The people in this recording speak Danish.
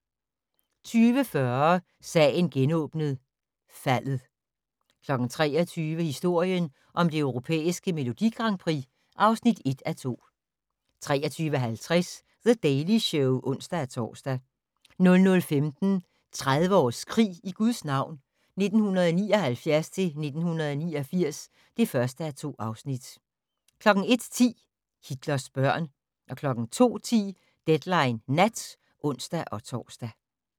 20:40: Sagen genåbnet: Faldet 23:00: Historien om det europæiske Melodi Grand Prix (1:2) 23:50: The Daily Show (ons-tor) 00:15: 30 års krig i Guds navn - 1979-1989 (1:2) 01:10: Hitlers børn 02:10: Deadline Nat (ons-tor)